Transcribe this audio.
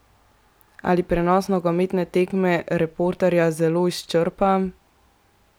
Ali prenos nogometne tekme reporterja zelo izčrpa?